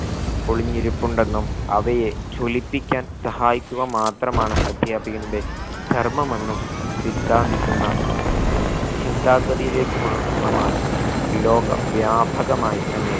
ഒളിഞ്ഞിരിപ്പുണ്ടെന്നും അവയെ ജ്വലിപ്പിക്കാൻ സഹായിക്കുക മാത്രമാണ് അധ്യാപികന്റെ ധർമ്മം എന്നും സിദ്ധാന്തിക്കുന്ന ചിന്താഗതിയിലേകുമാ ള്ള മാറ്റം ലോക വ്യാപകമായിത്തന്നെ